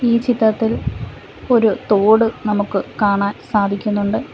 ഈ ചിത്രത്തിൽ ഒരു തോട് നമുക്ക് കാണാൻ സാധിക്കുന്നുണ്ട്.